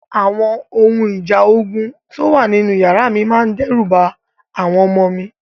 Àwọn ohun ìjà ogun tó wà nínú yàrá mi máa dẹ́rù ba àwọn ọmọ mi.